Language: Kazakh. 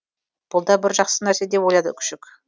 бұл да бір жақсы нәрсе деп ойлады күшік